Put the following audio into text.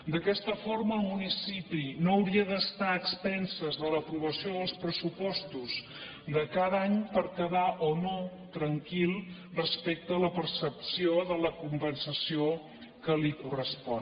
d’aquesta forma el municipi no hauria d’estar a expenses de l’aprovació dels pressupostos de cada any per quedar o no tranquil respecte a la percepció de la compensació que li correspon